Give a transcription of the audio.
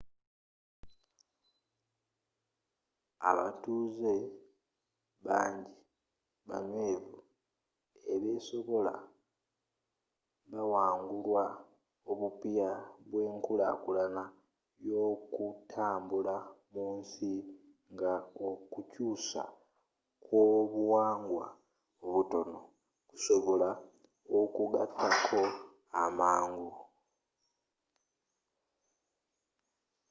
abatambuze bangi banywevu ebesobola bawangulwa obupya bw'enkulakulana y'okutambula mu nsi nga okukyuusa kw'obuwangwa obutono kusobola okugattako amangu